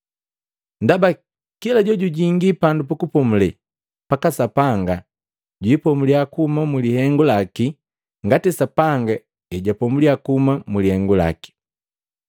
Ndaba kila jojujingi pandu pukupomule paka Sapanga jwiipomuliya kuhuma mu lihengu laki ngati Sapanga ejapomuliya kuhuma mulihengu laki.